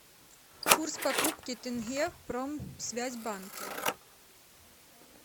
курс покупки тенге в промсвязьбанке